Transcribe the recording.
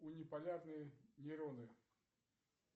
униполярные нейроны